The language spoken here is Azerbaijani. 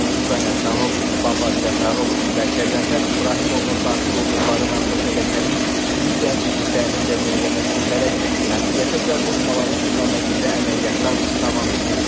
Murtuza Həsənov, Baba Cəfərov və Qəzənfər İbrahimovun daxil olduqları narkoşəbəkənin digər üzvlərinin də müəyyənləşdirilərək məsuliyyətə cəlb olunmaları istiqamətində əməliyyatlar davam etdirilir.